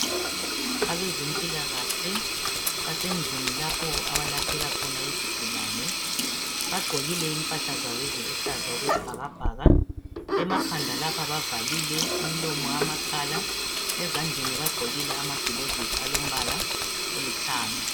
Abezempilakahle basendlini lapho abalaphela khona izigulane bagqokile impahla zabo eziluhlaza okwesibhakabhaka emakhanda lapha bavalile imilomo amakhala ezandleni bagqokile amagilovisi alombala olithanga.